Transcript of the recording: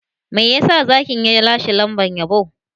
Me yasa Zakin ya lashe lambar yabo?